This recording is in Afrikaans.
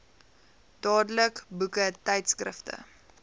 dadelik boeke tydskrifte